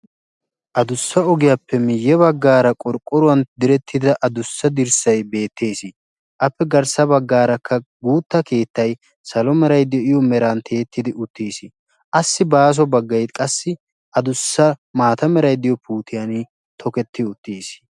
adussa ogiyaappe miyye baggaara qorqqoruwan direttida adussa dirssay beettees appe garssa baggaarakka guutta keettay salo meray de'iyo meran tiyyettidi uttiis assi baaso baggay qassi adussa maata meraiddiyo puutiyan tokettido uttiis